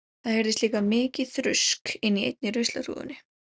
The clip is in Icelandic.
Það heyrðist líka mikið þrusk inni í einni ruslahrúgunni.